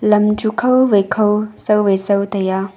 lam chu khaw wai khaw saw wai saw tai a.